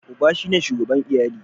Uba shine shugaban iyali.